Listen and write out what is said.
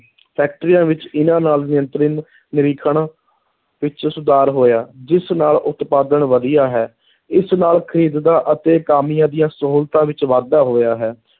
ਫੈਕਟਰੀਆਂ ਵਿੱਚ ਇਨ੍ਹਾਂ ਨਾਲ ਨਿਯੰਤਰਨ, ਨਿਰੀਖਣ ਵਿੱਚ ਸੁਧਾਰ ਹੋਇਆ, ਜਿਸ ਨਾਲ ਉਤਪਾਦਨ ਵਧੀਆ ਹੈ, ਇਸ ਨਾਲ ਖ਼ਰੀਦ ਦਾ ਅਤੇ ਕਾਮਿਆਂ ਦੀਆਂ ਸਹੂਲਤਾਂ ਵਿੱਚ ਵਾਧਾ ਹੋਇਆ ਹੈ।